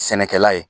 Sɛnɛkɛla ye